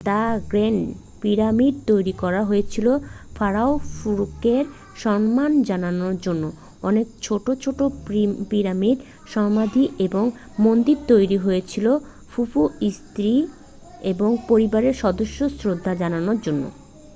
the great pyramid তৈরি করা হয়েছিল ফারাও খুফুকে সম্মান জানানোর জন্য অনেক ছোটো ছোটো পিরামিড সমাধি এবং মন্দির তৈরি হয়েছিল খুফুর স্ত্রী এবং পরিবারের সদস্যদের শ্রদ্ধা জানানোর জন্য